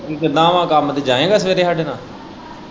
ਕਿੱਦਾ ਵਾ ਕੰਮ ਤੇ ਜਾਏਗਾ ਸਵੇਰੇ ਹਾਂਡੇ ਨਾਲ਼।